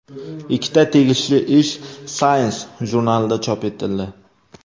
Ikkita tegishli ish Science jurnalida chop etildi .